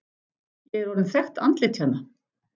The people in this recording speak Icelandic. Ég er orðinn þekkt andlit hérna.